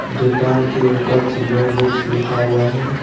दुकान के ऊपर चिल्ड्रन बुक्स लिखा हुआ है।